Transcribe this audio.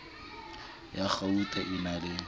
ya kgauta e na le